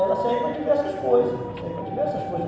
Ela serve para diversas coisas, ela serve para diversas coisas.